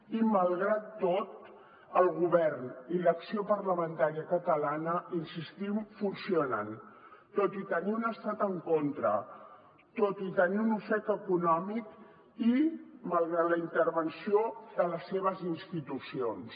i malgrat tot el govern i l’acció parlamentària catalana hi insistim funcionen tot i tenir un estat en contra tot i tenir un ofec econòmic i malgrat la intervenció de les seves institucions